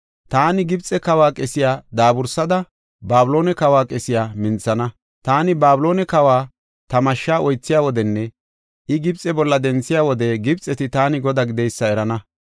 Taani Gibxe kawa qesiya daabursada, Babiloone kawa qesiya minthana. Taani Babiloone kawa ta mashsha oythiya wodenne I Gibxe bolla denthiya wode Gibxeti taani Godaa gideysa erana.